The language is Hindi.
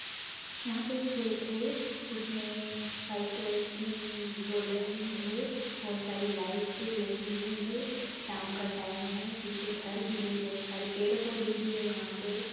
यहाँ पे एक खेत हैं उसमे वाइट कलर की बॉर्डर भी हैं बहुत सारी लाइट लगी हुई हैं शाम का टाइम है पीछे घर भी हैं बहुत पेड़ पौधे भी हैं यहाँ पे।